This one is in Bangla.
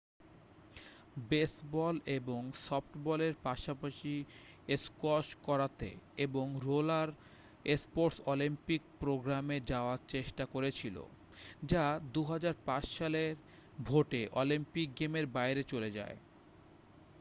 বেসবল এবং সফটবলের পাশাপাশি স্কোয়াশ কারাতে এবং রোলার স্পোর্টস অলিম্পিক প্রোগ্রামে যাওয়ার চেষ্টা করেছিল যা 2005 সালে ভোটে অলিম্পিক গেমের বাইরে চলে যায়